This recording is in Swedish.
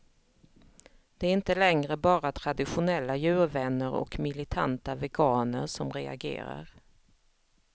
Det är inte längre bara traditionella djurvänner och militanta veganer som reagerar.